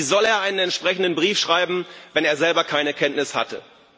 Wie soll er einen entsprechenden Brief schreiben, wenn er selber keine Kenntnis hatte?